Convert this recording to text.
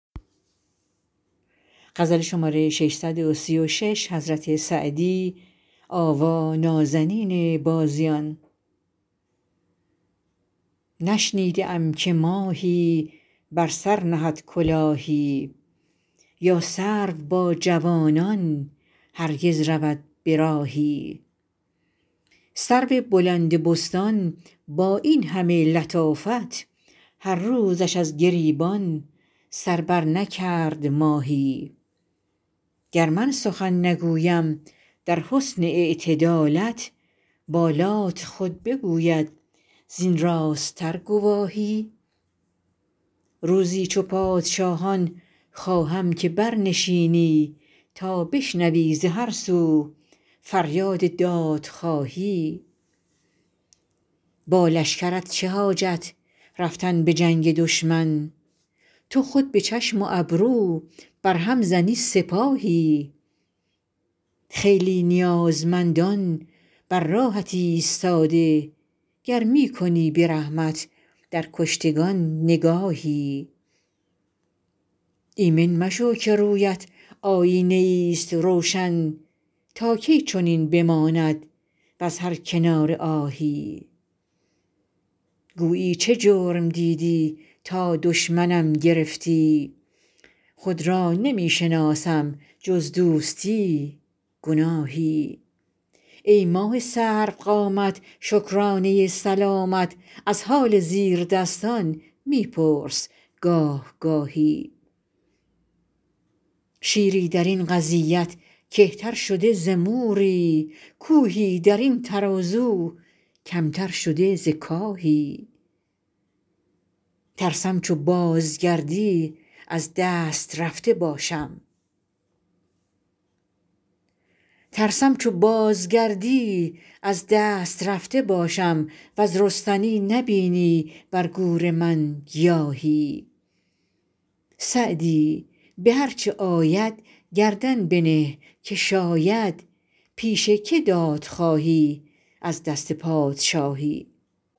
نشنیده ام که ماهی بر سر نهد کلاهی یا سرو با جوانان هرگز رود به راهی سرو بلند بستان با این همه لطافت هر روزش از گریبان سر برنکرد ماهی گر من سخن نگویم در حسن اعتدالت بالات خود بگوید زین راست تر گواهی روزی چو پادشاهان خواهم که برنشینی تا بشنوی ز هر سو فریاد دادخواهی با لشکرت چه حاجت رفتن به جنگ دشمن تو خود به چشم و ابرو بر هم زنی سپاهی خیلی نیازمندان بر راهت ایستاده گر می کنی به رحمت در کشتگان نگاهی ایمن مشو که روی ات آیینه ای ست روشن تا کی چنین بماند وز هر کناره آهی گویی چه جرم دیدی تا دشمنم گرفتی خود را نمی شناسم جز دوستی گناهی ای ماه سرو قامت شکرانه سلامت از حال زیردستان می پرس گاه گاهی شیری در این قضیت کهتر شده ز موری کوهی در این ترازو کم تر شده ز کاهی ترسم چو بازگردی از دست رفته باشم وز رستنی نبینی بر گور من گیاهی سعدی به هر چه آید گردن بنه که شاید پیش که داد خواهی از دست پادشاهی